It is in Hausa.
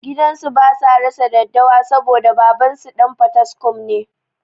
Gidansu basa rasa daddawa saboda babansu ɗan fataskum ne